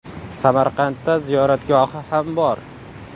Samarqandda ziyoratgohi ham bor.